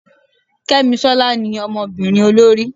kemisola ní Ọmọbinrin olorí